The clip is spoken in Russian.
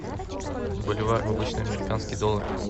боливар в обычный американский доллар